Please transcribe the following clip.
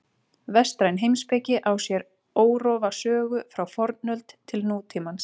Vestræn heimspeki á sér órofa sögu frá fornöld til nútímans.